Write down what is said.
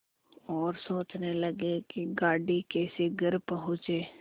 और सोचने लगे कि गाड़ी कैसे घर पहुँचे